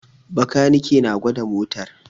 Bakanike na gwada motar